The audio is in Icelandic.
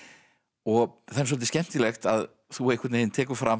og það er svolítið skemmtilegt að þú tekur fram